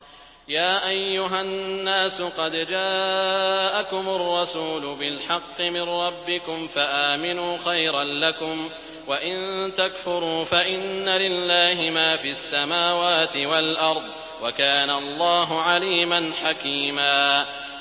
يَا أَيُّهَا النَّاسُ قَدْ جَاءَكُمُ الرَّسُولُ بِالْحَقِّ مِن رَّبِّكُمْ فَآمِنُوا خَيْرًا لَّكُمْ ۚ وَإِن تَكْفُرُوا فَإِنَّ لِلَّهِ مَا فِي السَّمَاوَاتِ وَالْأَرْضِ ۚ وَكَانَ اللَّهُ عَلِيمًا حَكِيمًا